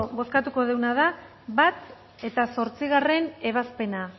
bozkatuko duguna da bat eta zortzigarren ebazpena